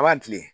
A b'a kilen